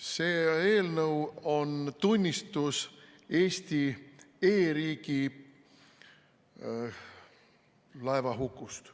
See eelnõu on tunnistus Eesti e-riigi laevahukust.